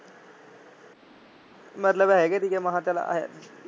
ਮੇਰੇ ਲਵੇ ਹੈਗੇ ਤੀ ਗੇ ਮੈਂ ਚੱਲ